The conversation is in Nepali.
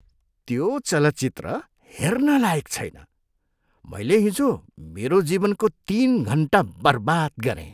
त्यो चलचित्र हेर्न लायक छैन। मैले हिजो मेरो जीवनको तिन घन्टा बर्बाद गरेँ।